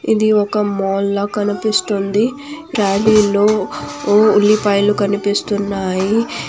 ఇది ఒక మాల్ లా కనిపిస్తుంది. ట్రాలీ లో ఉ-ఉల్లిపాయలు కనిపిస్తున్నాయి.